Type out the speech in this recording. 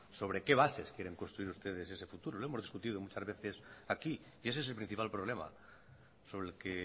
sobre qué bases quieren construir ustedes ese futuro lo hemos discutido muchas veces aquí y ese es el principal problema sobre el que